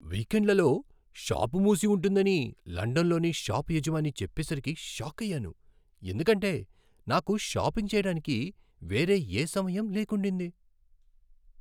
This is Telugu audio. వీకెండ్లలో షాప్ మూసి ఉంటుందని లండన్లోని షాప్ యజమాని చెప్పేసరికి షాక్ అయ్యాను ఎందుకంటే నాకు షాపింగ్ చేయడానికి వేరే ఏ సమయం లేకుండింది.